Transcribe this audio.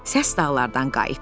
Səs dağlardan qayıtdı.